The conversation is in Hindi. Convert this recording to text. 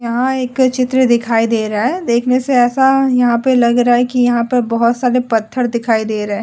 यहाँ एक चित्र दिखाई दे रहा है देखने से ऐसे यहाँ लग रहा है की यहां पर बहुत सारे पत्थर दिखाई दे रहे है।